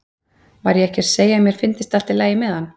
Var ég ekki að segja að mér fyndist allt í lagi með hann?